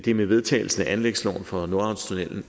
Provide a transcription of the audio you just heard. er med vedtagelsen af anlægsloven for nordhavnstunnellen